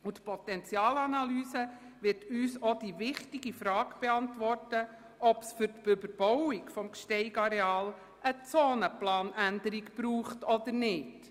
Die Potenzialanalyse wird uns auch die wichtige Frage beantworten, ob es für die Überbauung des Gsteig-Areals einer Zonenplanänderung bedarf oder nicht.